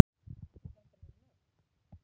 Þetta með nöfn